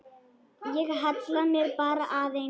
Ég hallaði mér bara aðeins.